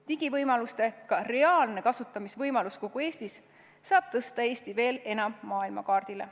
Digivõimaluste reaalne kasutamine kogu Eestis saab tõsta Eesti veel enam maailmakaardile.